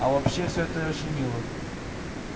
а вообще все это очень мило